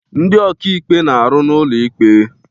Ndị ọka ikpe na-arụ n'ụlọ ikpe.